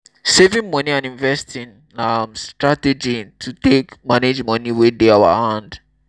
saving money and investing na um strategy to take manage money wey dey our hand